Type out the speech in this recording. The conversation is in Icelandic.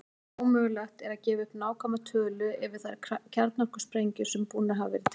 Ómögulegt er að gefa upp nákvæma tölu yfir þær kjarnorkusprengjur sem búnar hafa verið til.